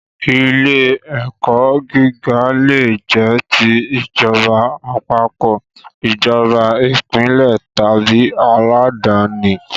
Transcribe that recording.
Ilé ẹ̀kọ́ gíga le jẹ́ ti ìjọba àpapọ̀, ìjọba ìpínlẹ̀ tàbí aládàníi